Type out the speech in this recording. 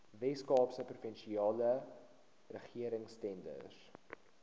weskaapse provinsiale regeringstenders